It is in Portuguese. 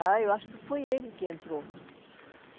Já, eu acho que foi ele que entrou.